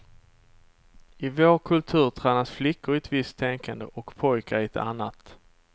I vår kultur tränas flickor i ett visst tänkande, och pojkar i ett annat.